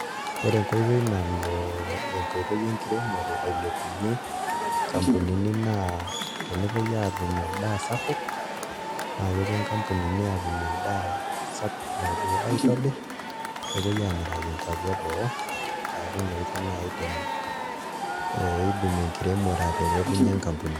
Ore enkoitoi nalo enkoitoi enkiremore ailepunyie nkampunini naa tenepuoi aatum endaa sapuk naa kepuo nkampunini aatum endaa sapuk napuo aitobirr, nepuoi aamiraki nkuapi eboo neeku ina oitoi naa iidim enkiremore ataretunyie nkampunini.